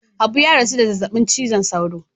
Habu ya rasu da zazzabin cizon sauro.